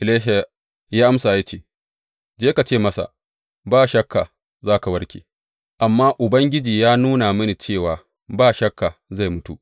Elisha ya amsa ya ce, Je ka ce masa, Ba shakka za ka warke’; amma Ubangiji ya nuna mini cewa ba shakka zai mutu.